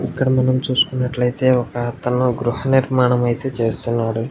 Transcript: ఇక్కడ మనం చూసుకున్నట్లయితే ఒక అతను గృహనిర్మాణం అయితే చేస్తున్నారు.